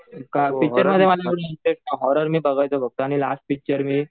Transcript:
horror मी बऱ्याचवेळा बघतो आणि लास्ट पिक्चर मी